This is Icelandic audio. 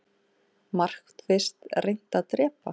Markvisst reynt að drepa